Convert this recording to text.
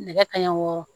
Nɛgɛ kanɲɛ wɔɔrɔ